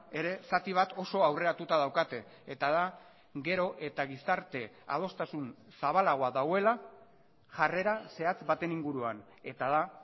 ere zati bat oso aurreratuta daukate eta da gero eta gizarte adostasun zabalagoa dagoela jarrera zehatz baten inguruan eta da